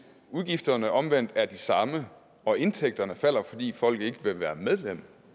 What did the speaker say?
udgifterne omvendt er de samme og indtægterne falder fordi folk ikke vil være medlem